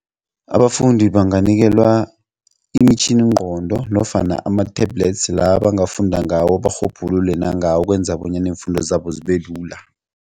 Abafundi banganikelwa imitjhiningqondo nofana ama-tablets la bangafunda ngawo barhubhululi nangawo okwenza bonyana iimfundo zabo zibelula.